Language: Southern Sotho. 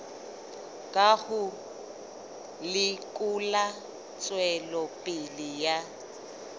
ka ho lekola tswelopele ya